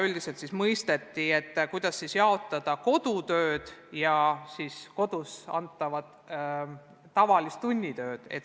Üldiselt mõisteti, kuidas jaotada kodutööd ja kodus antavat tavalist tunnitööd.